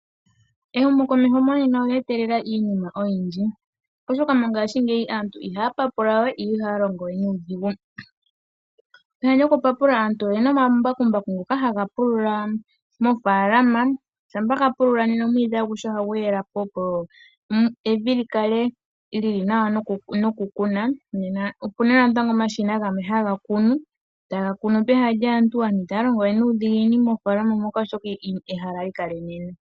Ehumokomeho monena olue etelela iinima oyindji, oshoka mongaashingeyi aantu iha ya papula we, and iha ya longo we nuudhigu. Peha lyoku papula asntuboyena omambakumbaku ngoka ha ga pulula moofalana, shampa ga pulùla, nena omwiidhi aguhe oha gu yelapo, opo evi li kale lili nawa noku kuna. Nena opena natango omashina gamwe ha ga kunu, ta ga kunu peha lyaantu, asntu ita ys longo wevnuudhiginini moofalana moka oshoka ehala oha li kala enene.